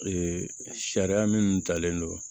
Ee sariya minnu talen don